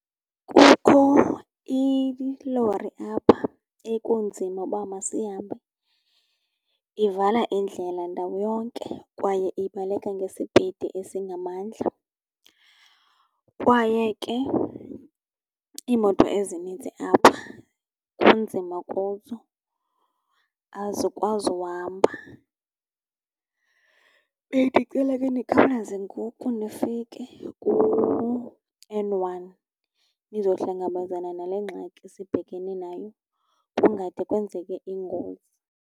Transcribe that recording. Kukho ilori apha ekunzima uba masihambe. Ivala indlela ndawo yonke kwaye ibaleka ngesipidi esingamandla, kwaye ke iimoto ezininzi apha kunzima kuzo, azikwazi uhamba. Bendicela ke nikhawuleze ngoku nifike kuN one nizohlangabezana nale ngxaki sibhekene nayo kungade kwenzeke ingozi.